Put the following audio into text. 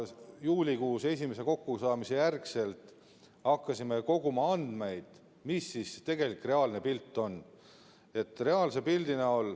Juulikuus, esimese kokkusaamise järel hakkasime koguma andmeid, et saada teada, milline on tegelik, reaalne pilt.